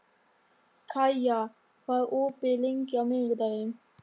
Kaía, hvað er opið lengi á miðvikudaginn?